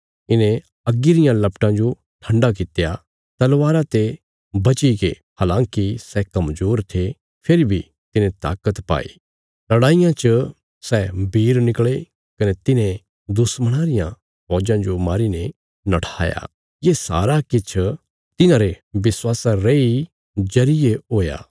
इन्हें अग्गी रियां लपटां जो ठण्डा कित्या तलवारा ते बचीगे हलाँकि सै कमजोर थे फेरी बी तिन्हें ताकत पाई लड़ाईयां च सै वीर निकले कने तिन्हें दुश्मणां रियां फौजां जो मारीने नठाया ये सारा किछ तिन्हांरे विश्वासा रेई जरिये हुया